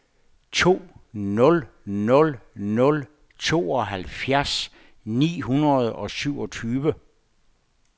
to nul nul nul tooghalvfjerds ni hundrede og syvogtyve